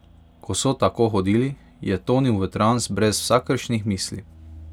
Ko so tako hodili, je tonil v trans brez vsakršnih misli.